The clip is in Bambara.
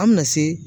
An bɛna se